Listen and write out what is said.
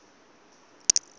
na u oa nila ine